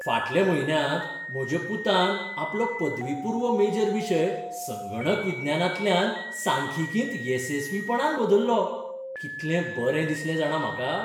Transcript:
फाटल्या म्हयन्यांत म्हज्या पुतान आपलो पदवीपूर्व मेजर विशय संगणक विज्ञानांतल्यान सांख्यिकींत येसस्वीपणान बदल्लो. कितलें बरें दिसलें जाणां म्हाका?